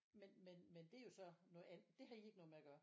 Men men men det er jo så noget andet det har i ikke noget med at gøre?